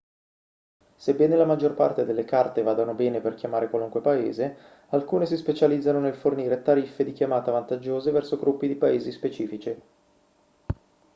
sebbene la maggior parte delle carte vadano bene per chiamare qualunque paese alcune si specializzano nel fornire tariffe di chiamata vantaggiose verso gruppi di paesi specifici